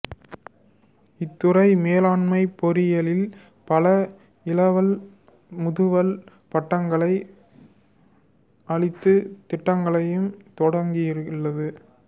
இத்துறை மேலாண்மைப் பொறியியலில் பல இளவல் முதுவல் பட்டங்களை அளிக்கும் திட்டங்களைத் தொடங்கியுள்ளது